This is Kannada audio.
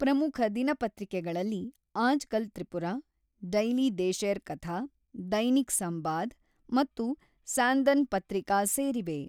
ಪ್ರಮುಖ ದಿನಪತ್ರಿಕೆಗಳಲ್ಲಿ ಆಜ್‌ಕಲ್ ತ್ರಿಪುರ, ಡೈಲಿ ದೇಶೇರ್ ಕಥಾ, ದೈನಿಕ್ ಸಂಬಾದ್ ಮತ್ತು ಸ್ಯಾಂದನ್ ಪತ್ರಿಕಾ ಸೇರಿವೆ.